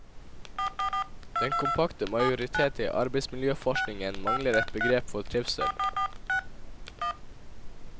Den kompakte majoritet i arbeidsmiljøforskningen mangler et begrep for trivsel.